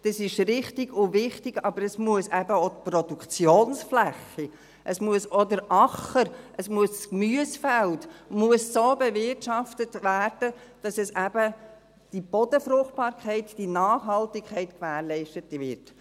Dies ist richtig und wichtig, aber es muss eben auch die Produktionsfläche, es muss auch der Acker, es muss das Gemüsefeld so bewirtschaftet werden, dass eben die Bodenfruchtbarkeit, die Nachhaltigkeit gewährleistet wird.